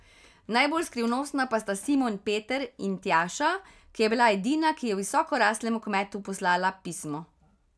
Najbolj skrivnostna pa sta Simon Peter in Tjaša, ki je bila edina, ki je visokoraslemu kmetu poslala pismo.